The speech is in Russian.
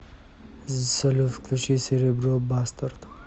салют включи серебро бастард